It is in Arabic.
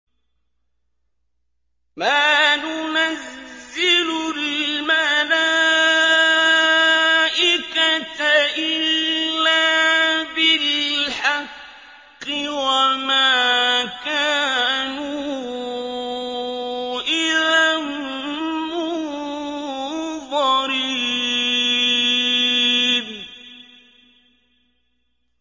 مَا نُنَزِّلُ الْمَلَائِكَةَ إِلَّا بِالْحَقِّ وَمَا كَانُوا إِذًا مُّنظَرِينَ